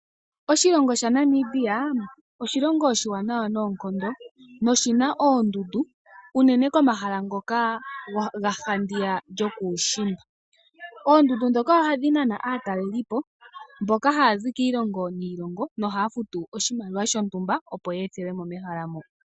Oshilongo shaNamibia osho oshilongo oshiwanawa noonkondo, noshina oondundu, unene komahala ngoka ga handiya lyokuushimba. Oondundu ndhoka ohadhi nana aatalelipo, mboka hayazi kiilongo niilongo, nohaya futu oshimaliwa shontumba opo ye ethelwe mo mehala moka.